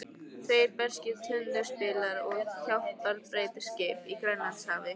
Tveir breskir tundurspillar og hjálparbeitiskip í Grænlandshafi.